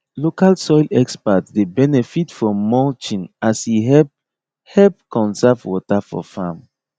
local soil experts dey benefit from mulching as e help help conserve water for farm